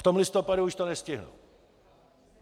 V tom listopadu už to nestihnou.